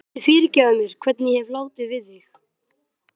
Viltu fyrirgefa mér hvernig ég hef látið við þig?